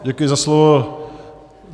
Děkuji za slovo.